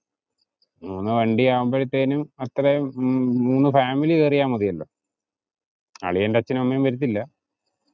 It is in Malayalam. അളിയൻറെ അച്ഛനും അമ്മേം വരത്തില്ല, പിന്നെ സൂര്യേടെ വണ്ടി, മുന്ന് വണ്ടി ഉണ്ട്, മുന്ന് വണ്ടി ആവുമ്പഴാതേനും അത്രേം മുന്ന് ഫാമിലി കേറിയ മതിയല്ലോ.